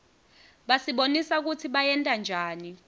basibonisa kutsi bayentanjani